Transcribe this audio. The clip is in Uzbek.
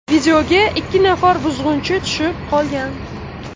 Videoga ikki nafar buzg‘unchi tushiib qolgan.